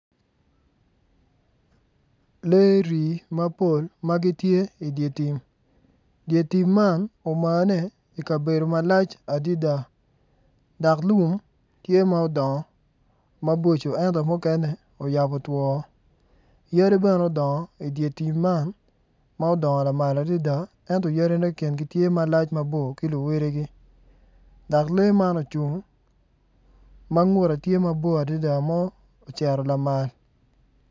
Lee rii mapol ma gitye i dye tim dye tim omane i kabedo malac adida dak lum tye ma udongo maboco ento mukene uyabo twoo yadi bene udongo i dye tim man ento odongo lamal adida ento yadine kingi gitye malac mabor ki luwedigi dak lee man ocung ma ngute tye mabor adida ma oceto lamal